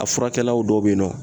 A furakɛlaw dɔw bɛ yen nɔ